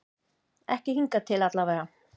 Ekki hingað til allavega.